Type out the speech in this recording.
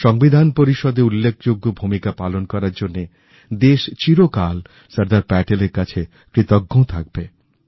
সংবিধান পরিষদে উল্লেখযোগ্য ভূমিকা পালন করার জন্যে দেশ চিরকাল সর্দার প্যাটেলের কাছে কৃতজ্ঞ থাকবে